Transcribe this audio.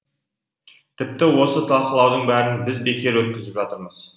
тіпті осы талқылаудың бәрін біз бекер өткізіп жатырмыз